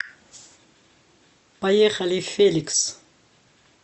поехали феликс